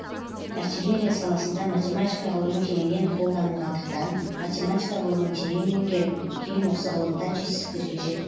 артиллерия саласында математика ғылымы кеңінен қолданылғандықтан математика ғылымын терең меңгеріп кейін осы ғылымда жетістіктерге жет